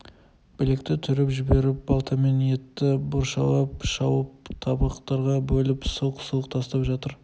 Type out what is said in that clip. білекті түріп жіберіп балтамен етті боршалап шауып табақтарға бөліп сылқ-сылқ тастап жатыр